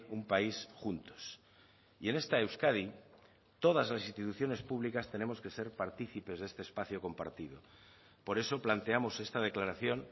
un país juntos y en esta euskadi todas las instituciones públicas tenemos que ser partícipes de este espacio compartido por eso planteamos esta declaración